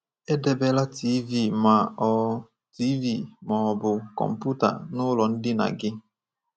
Edebela TV ma ọ TV ma ọ bụ kọmputa n’ụlọ ndina gị.